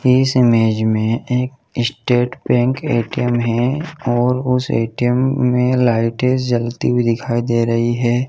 इस इमेज में एक स्टेट बैंक ए.टी.एम है और उस ए. टी. एम में लाइटें जलती हुई दिखाई दे रही हैं।